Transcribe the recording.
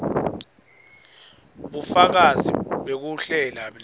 bufakazi bekuhlela ne